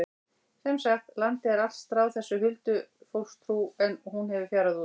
Sem sagt, landið er allt stráð þessari huldufólkstrú en hún hefur fjarað út.